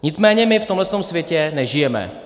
Nicméně my v tomhle světě nežijeme.